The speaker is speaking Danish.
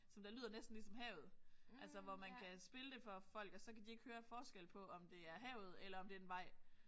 Som der lyder næsten ligesom havet. Altså hvor man kan spille det for folk og så kan de ikke høre forskel på om det er havet eller om det er en vej